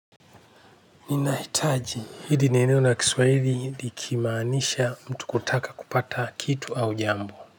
Ninahitaji hidi nieneo la kiswahili likimanisha mtu kutaka kupata kitu au jambo.